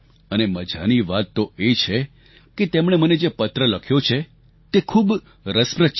અને મજાની વાત તો એ છે કે તેમણે મને જે પત્ર લખ્યો છે તે ખૂબ રસપ્રદ છે